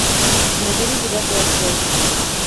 набери девятый отдел